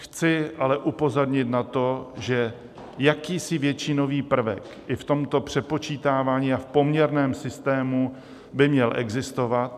Chci ale upozornit na to, že jakýsi většinový prvek i v tomto přepočítávání a v poměrném systému by měl existovat.